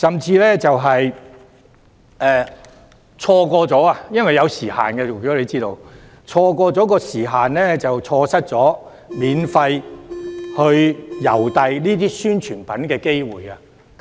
此外，大家亦知道，郵遞是有時限的，這甚至會令候選人錯失免費郵寄宣傳品的機會。